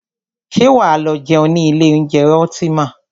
Ṣé wà á lọ jẹun ní ilé oúnjẹ Ultima?